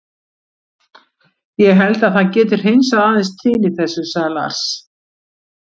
Ég held að það geti hreinsað aðeins til í þessu, sagði Lars.